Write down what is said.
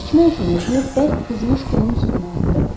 İçmək üçün özünü bərk qızmış qumun üstünə atdı.